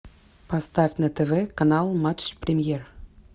поставь на тв канал матч премьер